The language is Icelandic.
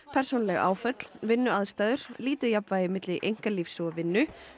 persónuleg áföll vinnuaðstæður lítið jafnvægi milli einkalífs og vinnu